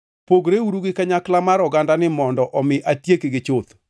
“Pogreuru gi kanyakla mar ogandani mondo omi atiekgi chuth.”